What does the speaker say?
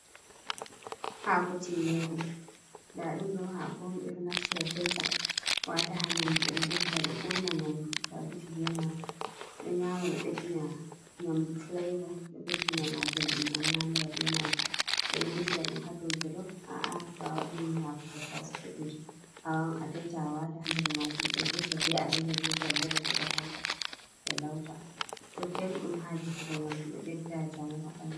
Haako tinngeere ndaa ɗum ɗo haako on ɓe ɗo naftira taita waata haa nyamdu, belɗum ɓe ɗo naftira ɗo urna nyamdu to a defi ɓe nyama, ɗo beddina nyamdu fileevo ɗo ɓeddina ma belɗum a nyamira bee maajum ɓe ɗo defira ɗum haa jolof aa'a to a waɗi haako tattasi bodeejum awaawan a tayta, a waata haa nder maajum bee leɗɗi bee alayyaho bee follere bo ɓe hawta ɓe lawta, bo belɗum haa defugo nyamdu ɗo ɓedda njamu haa ɓanndu.